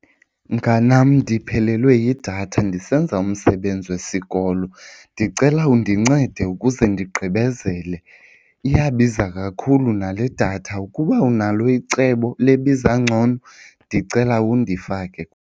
Mnganam, ndiphelelwe yidatha ndisenza umsebenzi wesikolo. Ndicela undincede ukuze ndigqibezele. Iyabiza kakhulu nale datha, ukuba unalo icebo lebiza ngcono ndicela undifake.